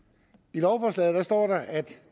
i lovforslaget står der at